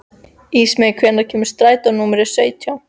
Ísmey, hvenær kemur strætó númer sautján?